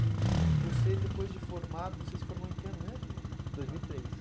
E você depois de formado, você se formou em que ano mesmo? dois mil e três